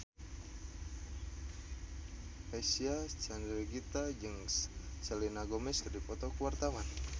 Reysa Chandragitta jeung Selena Gomez keur dipoto ku wartawan